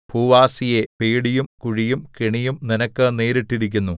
ഭൂവാസിയേ പേടിയും കുഴിയും കെണിയും നിനക്ക് നേരിട്ടിരിക്കുന്നു